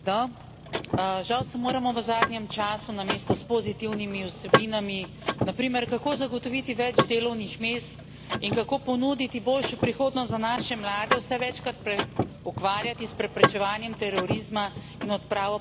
Žal se moramo v zadnjem času namesto s pozitivnimi vsebinami, na primer, kako zagotoviti več delovnih mest in kako ponuditi boljšo prihodnost za naše mlade, vse večkrat ukvarjati s preprečevanjem terorizma in odpravo posledic, ki jih ta prinaša.